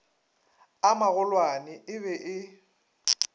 a magolwane e be e